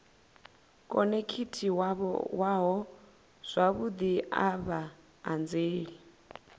khonekhithiwaho zwavhudi a vha anzeli